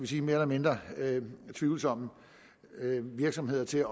sige mere eller mindre tvivlsomme virksomheder til